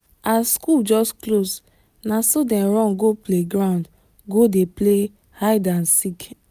as school just close naso dem run go play ground go dey play hide and seek